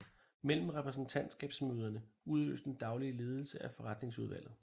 Mellem repræsentantskabsmøderne udøves den daglige ledelse af forretningsudvalget